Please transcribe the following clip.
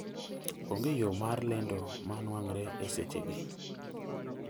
Onge yo mar lendo ma nwang're e seche gi